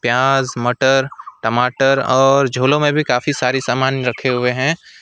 प्याज मटर टमाटर और झोलो में भी काफी सारी सामान रखें हुए हैं।